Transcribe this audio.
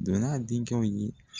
Don n'a denkɛw ye